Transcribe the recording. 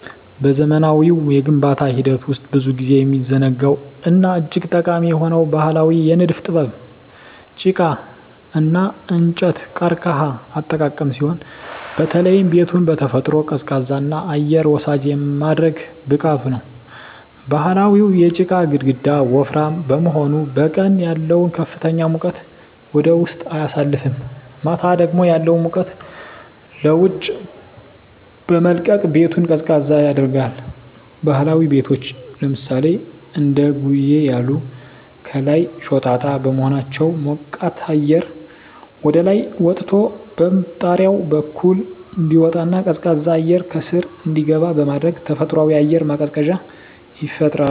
በዘመናዊው የግንባታ ሂደት ውስጥ ብዙ ጊዜ የሚዘነጋው እና እጅግ ጠቃሚ የሆነው ባህላዊ የንድፍ ጥበብ "ጪቃ (ጭቃ) እና እንጨት/ቀርከሃ አጠቃቀም ሲሆን፣ በተለይም ቤቱን በተፈጥሮ ቀዝቃዛና አየር ወሳጅ የማድረግ ብቃቱ ነው። ባህላዊው የጪቃ ግድግዳ ወፍራም በመሆኑ፣ በቀን ያለውን ከፍተኛ ሙቀት ወደ ውስጥ አያሳልፍም፣ ማታ ደግሞ ያለውን ሙቀት ለውጭ በመልቀቅ ቤቱን ቀዝቃዛ ያደርጋል። ባህላዊ ቤቶች (እንደ ጉዬ ያሉ) ከላይ ሾጣጣ በመሆናቸው፣ ሞቃት አየር ወደ ላይ ወጥቶ በጣሪያው በኩል እንዲወጣና ቀዝቃዛ አየር ከስር እንዲገባ በማድረግ ተፈጥሯዊ አየር ማቀዝቀዣ ይፈጥራሉ።